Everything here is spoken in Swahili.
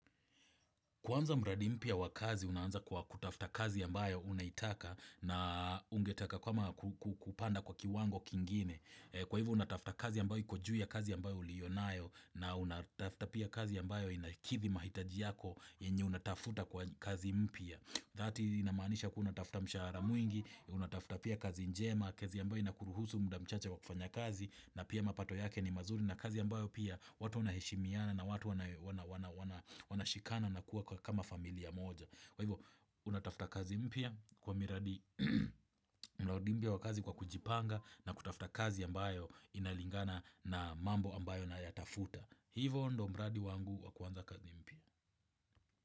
Kuanza mradi mpya wa kazi, unaanza kwa kutafuta kazi ambayo unaitaka na ungetaka kwa kupanda kwa kiwango kingine. Kwa hivyo unatafuta kazi ambayo iko juu ya kazi ambayo uliyonayo na unatafuta pia kazi ambayo inakidhi mahitaji yako yenye unatafuta kwa kazi mpya. Thati inamaanisha kuwa unatafuta mshahara mwingi, unatafuta pia kazi njema, kazi ambayo inakuruhusu muda mchache wa kufanya kazi na pia mapato yake ni mazuri. Na kazi ambayo pia watu wanaheshimiana na watu wanashikana na kuwa kama familia moja Kwa hivyo unatafuta kazi mpya kwa miradi mradi mpya wa kazi kwa kujipanga na kutafuta kazi ambayo inalingana na mambo ambayo nayatafuta Hivyo ndio mradi wangu wakuanza kazi mpya.